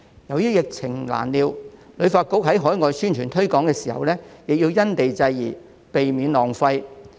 由於疫情難料，旅發局在海外宣傳推廣時亦要因地制宜，避免浪費。